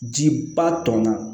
Jiba tɔnna